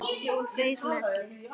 Hún fauk með öllu.